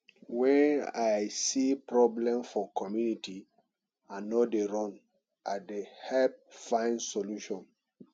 wen i see problem for community i no dey run i dey help find solution